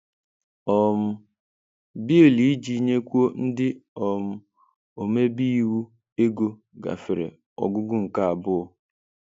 um Bill Iji nyekwuo ndị um omebe iwu ego gafere ọgụgụ nke abụọ